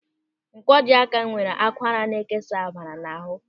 Ńkwọji áká nwere akwara na-ekesa ọbara n'ahụ.